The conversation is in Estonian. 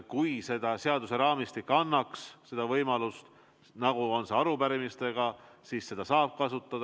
Kui seaduseraamistik annaks selle võimaluse, nagu annab arupärimiste puhul, siis seda saaks kasutada.